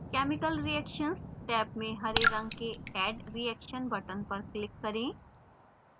chemical reactions tab में हरे रंग के add reaction button पर click करें